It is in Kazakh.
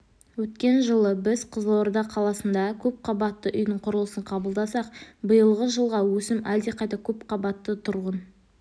өткен жылы біз қызылорда қаласында көпқабатты үйдің құрылысын қабылдасақ биылғы жылға өсім әлдеқайда көп көпқабатты тұрғын